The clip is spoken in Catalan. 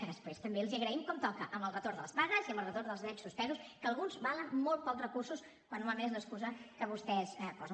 que després també els hi agraïm com toca amb el retorn de les pagues i amb el retorn dels drets suspesos que alguns valen molt pocs recursos quan normalment és l’excusa que vostès posen